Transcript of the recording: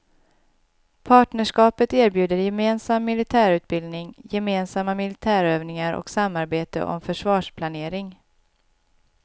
Partnerskapet erbjuder gemensam militärutbildning, gemensamma militärövningar och samarbete om försvarsplanering.